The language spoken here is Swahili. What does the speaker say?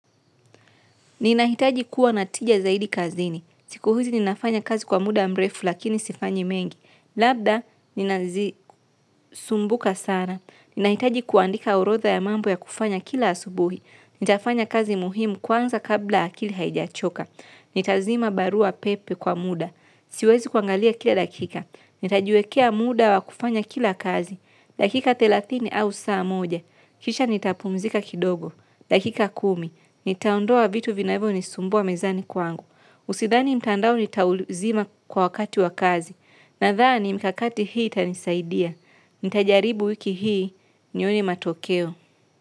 Ninahitaji kuwa na tija zaidi kazini. Siku hizi ninafanya kazi kwa muda mrefu lakini sifanyi mengi. Labda ninasumbuka sana. Ninahitaji kuandika orodha ya mambo ya kufanya kila asubuhi. Nitafanya kazi muhimu kwanza kabla akili haijachoka. Nitazima barua pepe kwa muda. Siwezi kuangalia kila dakika. Nitajiwekea muda wa kufanya kila kazi. Dakika thelathini au saa moja, kisha nitapumzika kidogo. Dakika kumi, nitaondoa vitu vinavyonisumbua mezani kwangu. Sidhani mtandao nitauzima kwa wakati wa kazi. Nadhani mikakati hii itanisaidia. Nitajaribu wiki hii nione matokeo.